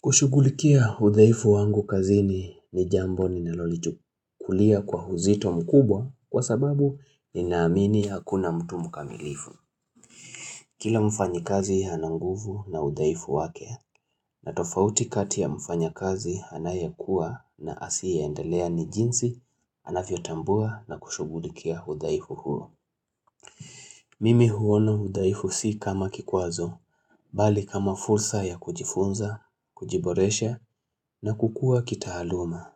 Kushugulikia udhaifu wangu kazini ni jambo ninalolichukulia kwa uzito mkubwa kwa sababu ninaamini hakuna mtu mkamilifu. Kila mfanyikazi ana nguvu na udhaifu wake na tofauti kati ya mfanyakazi anayekua na asiye endelea ni jinsi anavyotambua na kushugulikia udhaifu huo. Mimi huona udhaifu si kama kikwazo, bali kama fursa ya kujifunza, kujiboresha na kukua kitaaluma.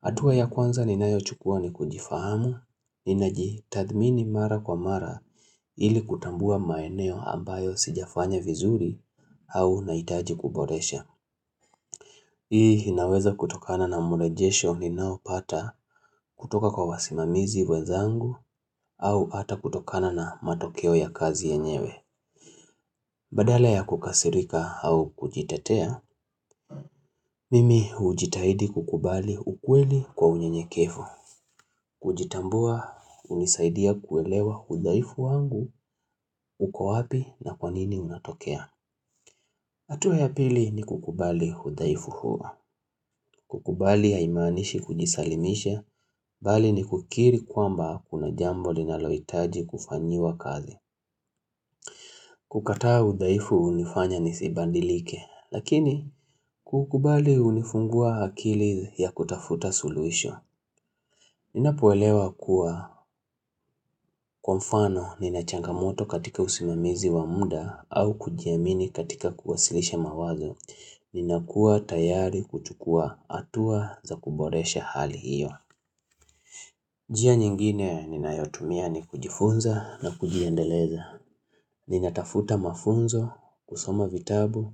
Hatua ya kwanza ninayochukua ni kujifahamu, ninajitathmini mara kwa mara ili kutambua maeneo ambayo sijafanya vizuri au nahitaji kuboresha. Hii inaweza kutokana na mrejesho ninaopata kutoka kwa wasimamizi wenzangu au hata kutokana na matokeo ya kazi yenyewe. Badala ya kukasirika au kujitetea, mimi hujitahidi kukubali ukweli kwa unyenyekevu. Kujitambua hunisaidia kuelewa hudhaifu wangu uko wapi na kwanini unatokea. Hatua ya pili ni kukubali hudhaifu huo. Kukubali haimaanishi kujisalimisha, bali ni kukiri kwamba kuna jambo linalohitaji kufanyiwa kazi. Kukataa udhaifu hunifanya nisibadilike, lakini kukubali hunifungua akili ya kutafuta suluhisho. Ninapoelewa kuwa kwa mfano nina changamoto katika usimamizi wa muda au kujiamini katika kuwasilisha mawazo. Ninakuwa tayari kuchukua hatua za kuboresha hali hiyo. Njia nyingine ninayotumia ni kujifunza na kujiendeleza. Ninatafuta mafunzo, kusoma vitabu,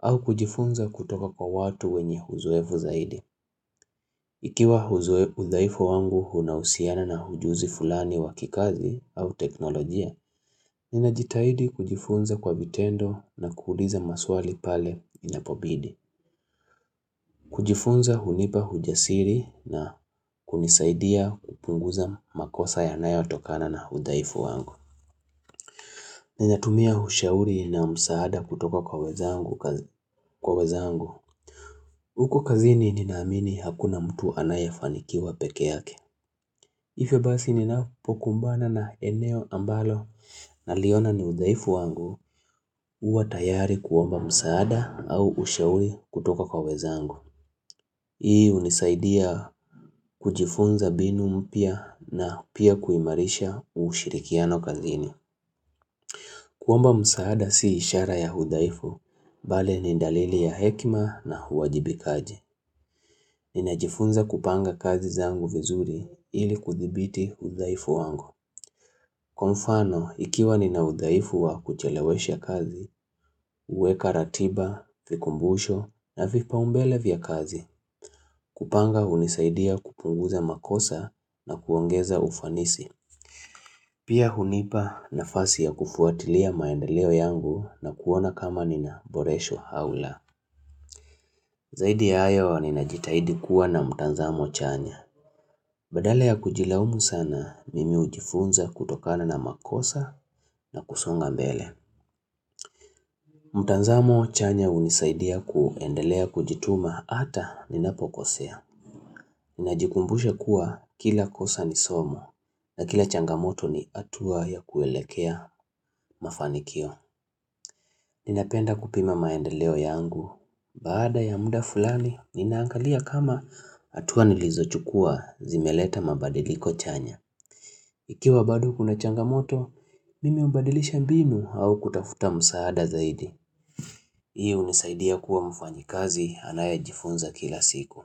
au kujifunza kutoka kwa watu wenye uzoefu zaidi. Ikiwa udhaifu wangu unahusiana na ujuzi fulani wa kikazi au teknolojia, ninajitahidi kujifunza kwa vitendo na kuuliza maswali pale inapobidi. Kujifunza hunipa ujasiri na kunisaidia kupunguza makosa yanayo tokana na udhaifu wangu. Ninatumia ushauri na msaada kutoka kwa wenzangu kwa wenzangu. Huko kazini ninaamini hakuna mtu anayefanikiwa pekee yake. Hivyo basi ninapokumbana na eneo ambalo naliona ni udhaifu wangu huwa tayari kuomba msaada au ushauri kutoka kwa wenzangu. Hii hunisaidia kujifunza mbinu mpya na pia kuimarisha ushirikiano kazini. Kuomba msaada si ishara ya hudhaifu, bali ni dalili ya hekima na huwajibikaji. Ninajifunza kupanga kazi zangu vizuri ili kuthibiti udhaifu wangu Kwa mfano, ikiwa nina udhaifu wa kuchelewesha kazi, huweka ratiba, vikumbusho na vipaumbele vya kazi, kupanga hunisaidia kupunguza makosa na kuongeza ufanisi. Pia hunipa nafasi ya kufuatilia maendeleo yangu na kuona kama nina boresha au la. Zaidi ya hayo ninajitahidi kuwa na mtazamo chanya. Badala ya kujilaumu sana, mimi hujifunza kutokana na makosa na kusonga mbele. Mtazamo chanya hunisaidia kuendelea kujituma hata ninapokosea. Ninajikumbusha kuwa kila kosa ni somo na kila changamoto ni hatua ya kuelekea mafanikio. Ninapenda kupima maendeleo yangu, baada ya muda fulani, ninaangalia kama hatua nilizochukua zimeleta mabadiliko chanya. Ikiwa bado kuna changamoto, mimi hubadilisha mbinu au kutafuta msaada zaidi. Hii hunisaidia kuwa mfanyikazi anayejifunza kila siku.